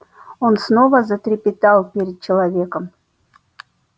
он снова затрепетал перед человеком